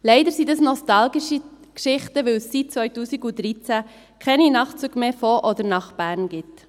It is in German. Leider sind dies nostalgische Geschichten, weil es seit 2013 keine Nachtzüge mehr von oder nach Bern gibt.